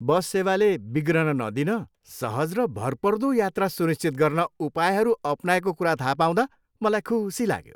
बस सेवाले बिग्रन नदिन, सहज र भरपर्दो यात्रा सुनिश्चित गर्न उपायहरू अपनाएको कुरा थाहा पाउँदा मलाई खुसी लाग्यो।